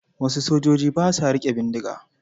Wasu sojoji ba sa riƙe bindiga.